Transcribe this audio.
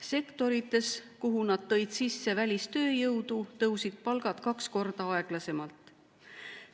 Sektorites, kuhu nad tõid sisse välistööjõudu, tõusid palgad kaks korda aeglasemalt.